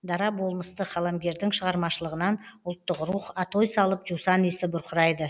дара болмысты қаламгердің шығармашылығынан ұлттық рух атой салып жусан иісі бұрқырайды